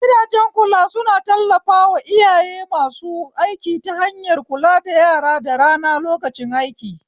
Gidajen kula suna tallafawa iyaye masu aiki ta hanyar kula da yara da rana lokacin aiki